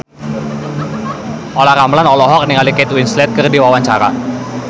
Olla Ramlan olohok ningali Kate Winslet keur diwawancara